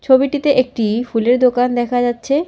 ছবিটিতে একটি ফুলের দোকান দেখা যাচ্ছে।